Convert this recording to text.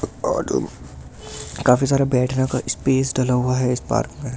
काफी सारा बैठने का स्पेस डाला हुआ है इस पार्क में --